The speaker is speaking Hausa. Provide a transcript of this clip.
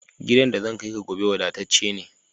Gidan da zan kai ka gobe wada tacce ne